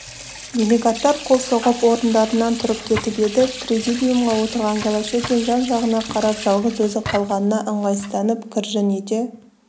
делегаттар қол соғып орындарынан тұрып кетіп еді президиумда отырған голощекин жан-жағына қарап жалғыз өзі қалғанына ыңғайсызданып кіржің ете